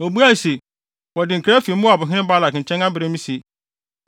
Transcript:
Obuae se, “Wɔde nkra afi Moabhene Balak nkyɛn abrɛ me se: